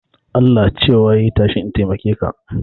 Allah cewa yai tashi in taimake ka